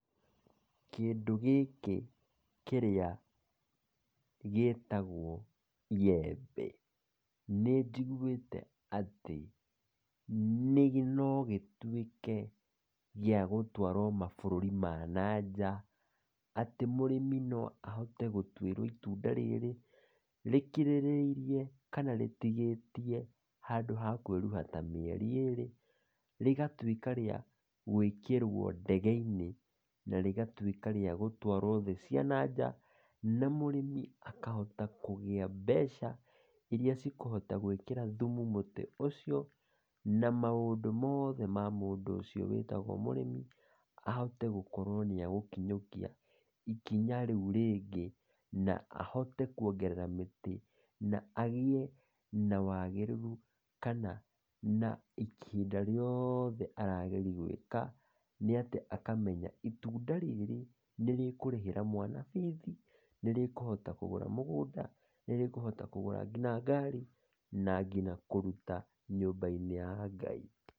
Kĩndũ gĩkĩ kĩrĩa gĩtagwo iyembe, nĩ njigwĩte atĩ no gĩtwĩke kĩa gũtwarwo mabũrũri ma na nja, atĩ mũrĩmi no ahote gũtwĩrwo itunda rĩrĩ rĩkirĩrĩirie kana rĩtigĩtie handũ ha kwĩruha ta mieri ĩrĩ, rĩgatwĩka rĩa gwĩkĩrwo ndege-inĩ na rĩgatwĩka rĩa gũthiĩ thĩ cia na nja , na mũrĩmi akahota kũgĩa mbeca iria cikũhota gwĩkĩra thũmũ mũtĩ ũcio , na maũndũ mothe ma mũndũ ũcio wĩtagwo mũrĩmi ahote gũkorwo nĩ agũkinyukia ikinya rĩu rĩngĩ , na ahote kwongerera mĩtĩ, na agĩe na wagĩrĩru kana ihinda riothe arageria gwĩka, nĩ atĩ akamenya atĩ itunda rĩrĩ nĩrĩkũhota kũrĩhĩra mwana bithi , nĩrĩkũhota kũgũra mũgũnda , nĩrĩkũhota kũgũra nginya ngari na nginya kũruta nyũmba-inĩ ya ngai.